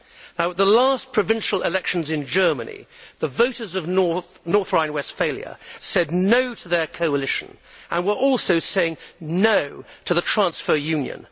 At the last provincial elections in Germany, the voters of North Rhine Westphalia said no' to their coalition and were also saying no' to the transfer union.